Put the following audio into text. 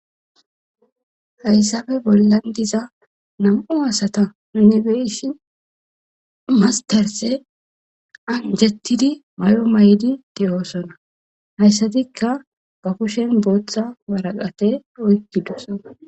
hayssafe bollan diza nam7u asata nibeeshi mastarse anjattidi may7o may7di de7oosona hayssatikka ba kushen booththa waraqate oykkidusan